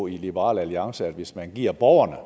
i liberal alliance at hvis man giver borgerne